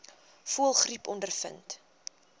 voëlgriep ondervind